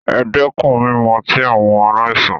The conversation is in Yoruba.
E dẹ́kun mímu ọtí, àwọn aláìsàn.